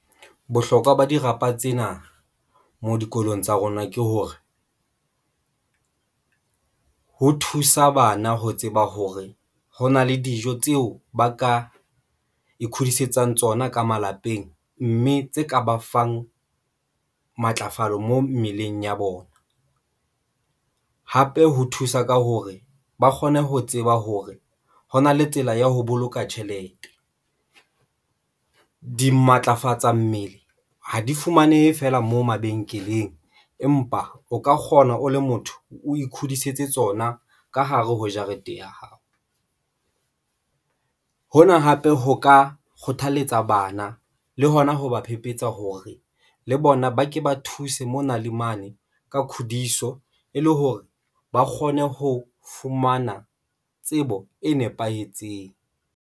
Bohlokwa ba dirapa tsena mo dikolong tsa rona ke hore ho thusa bana ho tseba hore hona le dijo tseo ba ka ikgodisetsang tsona ka malapeng mme tse ka ba fang matlafalo mo mmeleng ya bona. Hape ho thusa ka hore ba kgone ho tseba hore ho na le tsela ya ho boloka tjhelete, di matlafatsa mmele, ha di fumanehe feela moo mabenkeleng. Empa o ka kgona o le motho o ikhudisetsa tsona ka hare ho jarete ya hao. Hona hape ho ka kgothalletsa bana le hona ho ba phephetsa hore le bona ba ke ba thuse mona le mane ka khudiso, e le hore ba kgone ho fumana tsebo e nepahetseng.